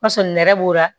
Basɔrɔ nɛrɛ b'o la